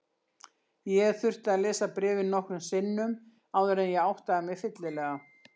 Ég þurfti að lesa bréfið nokkrum sinnum áður en ég áttaði mig fyllilega.